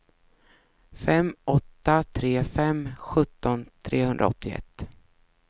fem åtta tre fem sjutton trehundraåttioett